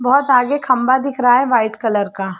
बहोत आगे खम्भा दिख रहा है वाइट कलर का।